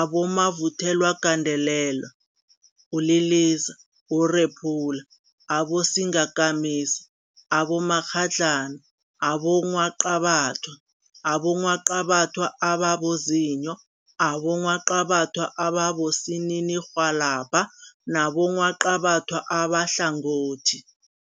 abomavuthelwagandelela, uliliza, urephula, abosingakamisa, abomakghadlana, abongwaqabathwa, abongwaqabathwa ababozinyo, abongwaqabathwa abosininirhwalabha nabongwaqabatha abahlangothi.